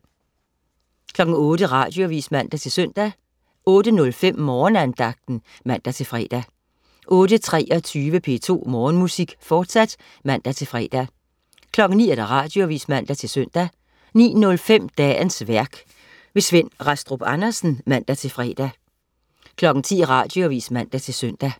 08.00 Radioavis (man-søn) 08.05 Morgenandagten (man-fre) 08.23 P2 Morgenmusik, fortsat (man-fre) 09.00 Radioavis (man-søn) 09.05 Dagens værk. Svend Rastrup Andersen (man-fre) 10.00 Radioavis (man-søn)